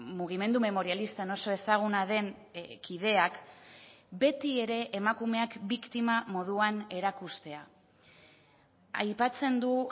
mugimendu memorialistan oso ezaguna den kideak beti ere emakumeak biktima moduan erakustea aipatzen du